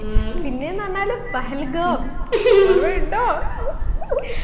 പിന്നെന്ന് പറഞ്ഞാൽ പഹ്ലഗോ